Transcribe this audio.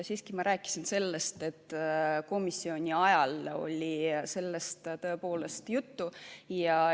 Jah, ma rääkisin sellest, et komisjonis oli sellest tõepoolest juttu.